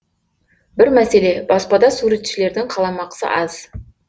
бір мәселе баспада суретшілердің қаламақысы аз